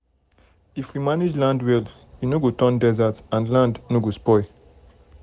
if we manage land well e no go turn desert and land no go spoil.